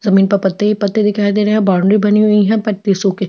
जमीन पर पत्ते ही पत्ते दिखाई दे रही है बाउंड्री बनी हुई है पत्ती सुखे--